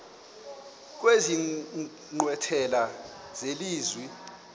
kwezi nkqwithela zelizwe